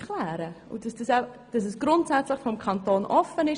Es soll grundsätzlich vom Kanton her offen sein.